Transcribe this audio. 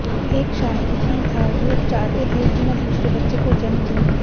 एक शाहिद ही था जो चाहते थे कि मैं दूसरे बच्चे को जन्म दूं